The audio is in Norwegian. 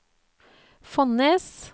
Fonnes